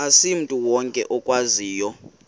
asimntu wonke okwaziyo